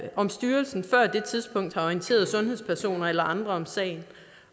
om styrelsen før det tidspunkt har orienteret sundhedspersoner eller andre om sagen